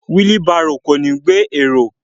Wílí barò kò ní gbé èrò.